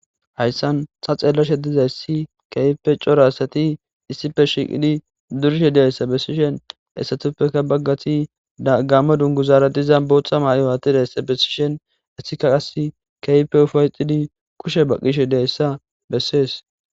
Haysan taa xellashshe dizayssi ke'ippe corra assati issippe shshiiqidi durishshe dizayssa bessishshin issatupekka baggatti gammmo dunguzara diza boththa ma'iwa attidayssa bessishshin issikka qassi ke'ippe up'ettidi kushshe baqiishshe dizayssa besees